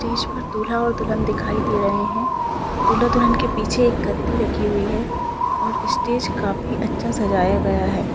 Stage पर दुल्हा और दुल्हन दिखाई दे रहें हैं दुल्हा-दुल्हन के पीछे एक गद्दी रखी हुई है और इ स्टेज काफी अच्छा सजाया गया है।